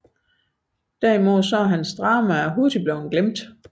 Derimod er hans dramaer hurtig blevne glemte